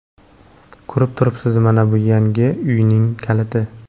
Ko‘rib turibsiz, mana bu yangi uyning kaliti.